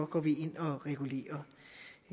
går vi ind og regulerer